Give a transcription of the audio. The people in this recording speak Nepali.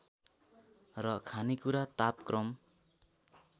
र खानेकुरा तापक्रम